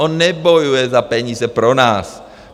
On nebojuje za peníze pro nás!